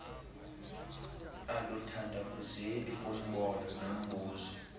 aluthandabuzeki kumbono nobizo